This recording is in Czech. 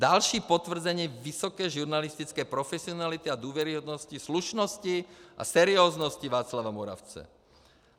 Další potvrzení vysoké žurnalistické profesionality a důvěryhodnosti, slušnosti a serióznosti Václava Moravce.